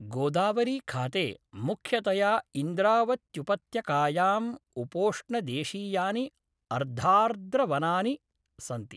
गोदावरीखाते मुख्यतया इन्द्रावत्युपत्यकायाम् उपोष्णदेशीयानि अर्धार्द्रवनानि सन्ति।